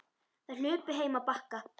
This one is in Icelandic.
Þær hlupu heim á Bakka.